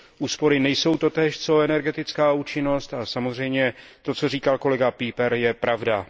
Úspory nejsou totéž co energetická účinnost a samozřejmě to, co říkal kolega Pieper, je pravda.